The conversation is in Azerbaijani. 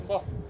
Nüzül?